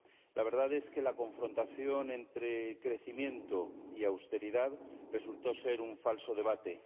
La verdad es que la confrontación entre crecimiento y austeridad resultó ser un falso debate.